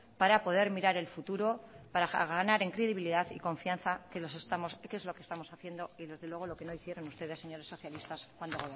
para poder mirar el futuro para ganar en credibilidad y confianza que es lo que estamos haciendo y desde luego lo que no hicieron ustedes señores socialistas cuando